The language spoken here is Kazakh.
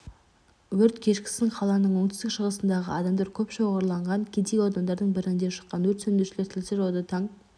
өрт кешкісін қаланың оңтүстік-шығысындағы адамдар көп шоғырланған кедей аудандардың бірінде шыққан өрт сөндірушілер тілсіз жауды таң